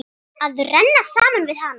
Að renna saman við hana.